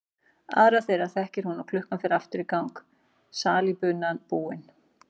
Aðra þeirra þekkir hún og klukkan fer aftur í gang, salíbunan búin.